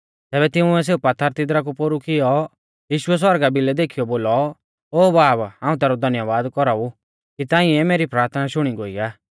तैबै तिंउऐ सेऊ पात्थर तिदरा कु पोरु कियौ यीशुऐ सौरगा भिलै देखीयौ बोलौ ओ बाब हाऊं तैरौ धन्यबाद कौराऊ कि ताइंऐ मेरी प्राथना शुणी गोई आ